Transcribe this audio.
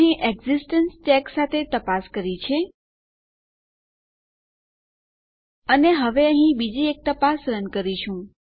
તો અહીં existence check સાથે તપાસ કરી છે અને હવે અહીં બીજી એક તપાસ રન કરીશું